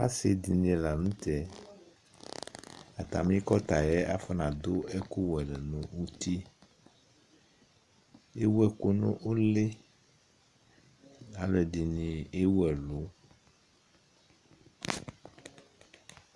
asidɩnɩ lanʊtɛ atamɩ ukpawlʊ yɛ afɔnadʊ ɛkʊ la n'uti, ewu ɛkʊ nʊ ʊlɩ, alʊɛdɩnɩ ewu ɛlʊ,